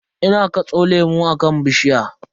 Ina katso lemu akan bishiya.